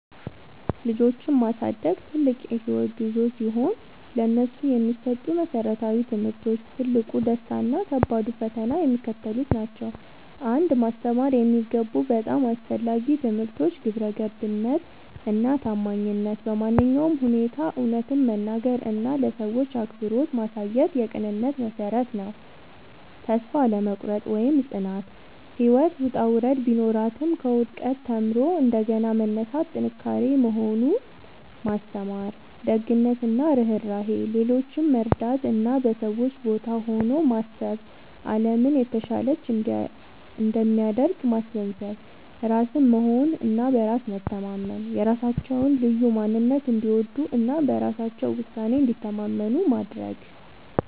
ልጆችን ማሳደግ ትልቅ የህይወት ጉዞ ሲሆን፥ ለነሱ የሚሰጡ መሰረታዊ ትምህርቶች፣ ትልቁ ደስታ እና ከባዱ ፈተና የሚከተሉት ናቸው 1. ማስተማር የሚገቡ በጣም አስፈላጊ ትምህርቶች ግብረገብነት እና ታማኝነት በማንኛውም ሁኔታ እውነትን መናገር እና ለሰዎች አክብሮት ማሳየት የቅንነት መሠረት ነው። ተስፋ አለመቁረጥ (ጽናት)፦ ህይወት ውጣ ውረድ ቢኖራትም፣ ከውድቀት ተምሮ እንደገና መነሳት ጥንካሬ መሆኑን ማስተማር። ደግነት እና ርህራሄ፦ ሌሎችን መርዳት እና በሰዎች ቦታ ሆኖ ማሰብ አለምን የተሻለች እንደሚያደርግ ማስገንዘብ። ራስን መሆን እና በራስ መተማመን፦ የራሳቸውን ልዩ ማንነት እንዲወዱ እና በራሳቸው ውሳኔ እንዲተማመኑ ማድረግ።